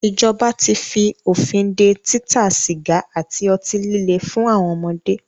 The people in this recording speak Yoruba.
Ìjọba tí fí òfin dé títa sìgá àti ọtí líle fún àwọn ọmọdé.